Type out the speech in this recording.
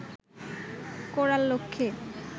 করার লক্ষ্যে